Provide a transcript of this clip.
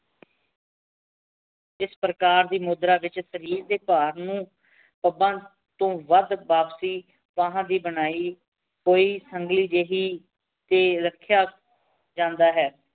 ਇਸ ਪਰਕਾਰ ਦੀ ਮੁਦ੍ਰਾ ਵਿਚ ਸ਼ਾਰੇਰ ਡੀ ਪਰ ਨੂ ਬੰਦ ਤੂੰ ਵਾਦ ਵਾਪਸੀ ਬਹਨ ਦੀ ਬਣਾਈ ਹੁਈ ਸੁਨ੍ਘੀ ਜਾਹਿ ਟੀ ਰਖੇਯਾ ਜਾਂਦਾ ਹੈਂ